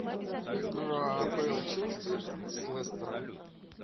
игра апл челси с лестером